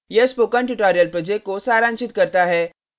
यह spoken tutorial project को सारांशित करता है